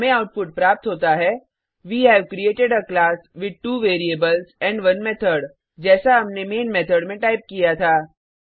हमें आउटपुट प्राप्त होता है we have created a class with 2 variables and 1 method जैसा हमने मेन मेथड में टाइप किया था